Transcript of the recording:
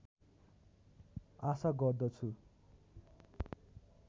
आशा गर्दछु